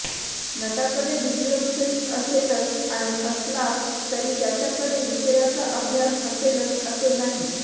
नटाकडे visual sense असेलच आणि असलाच तरी त्याच्याकडे विषयाचा अभ्यास असेलच असे नाही